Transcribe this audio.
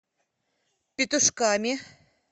петушками